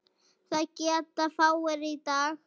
Það geta fáir í dag.